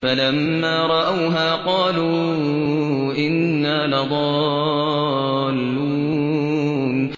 فَلَمَّا رَأَوْهَا قَالُوا إِنَّا لَضَالُّونَ